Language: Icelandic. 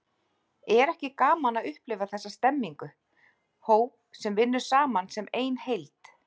Er ekki gaman að upplifa þessa stemningu, hóp sem vinnur saman sem ein heild?